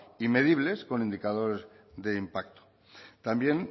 y medibles con indicadores de impacto también